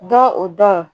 Dɔ o dɔn